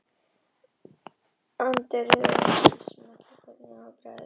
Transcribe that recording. Andreu þannig að nemendurnir vissu ekki hvernig þeir áttu að bregðast við.